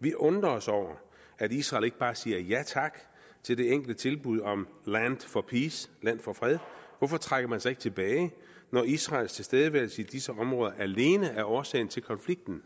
vi undrer os over at israel ikke bare siger ja tak til det enkle tilbud om land for peace land for fred hvorfor trækker man sig ikke tilbage når israels tilstedeværelse i disse områder alene er årsagen til konflikten